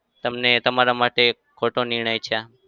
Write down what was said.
તમને તમારા માટે ખોટો નિર્ણય છે આ?